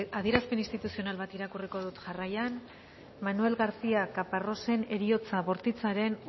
adierazpen instituzional bat irakurriko dut jarraian manuel garcía caparrosen heriotza bortitzaren